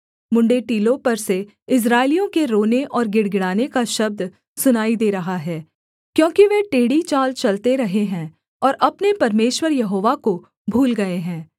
मुँण्ड़े टीलों पर से इस्राएलियों के रोने और गिड़गिड़ाने का शब्द सुनाई दे रहा है क्योंकि वे टेढ़ी चाल चलते रहे हैं और अपने परमेश्वर यहोवा को भूल गए हैं